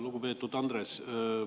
Lugupeetud Andres!